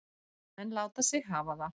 Menn láta sig hafa það.